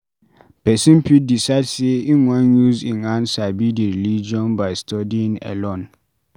Person fit decide sey im wan use im hand sabi di religion by studying alone